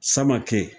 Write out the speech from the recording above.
Samake